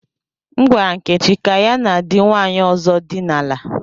M gwara Nkechi ka ya na di nwanyi ozo dina la.